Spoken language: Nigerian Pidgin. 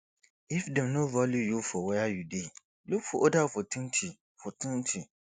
if dem no value you for where you dey look for oda opportunity opportunity